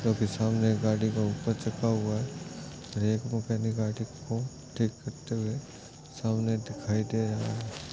जो कि सामने गाडी और एक मॅकेनिक गाडि को ठीक करते हुए दिखाई दे रहा है।